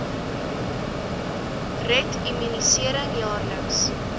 red immunisering jaarliks